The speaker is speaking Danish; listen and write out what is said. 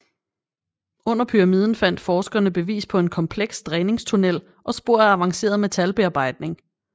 Under pyramiden fandt forskerne bevis på en kompleks dræningstunnel og spor af avanceret metalbearbejdning